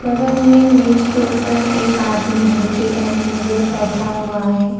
बगल में मेज के ऊपर एक आदमी धोती पहने हुए बैठा हुआ है।